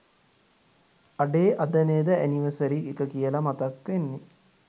අඩේ අද නේද ඇනිවර්සරි එක කියල මතක් වෙන්නෙ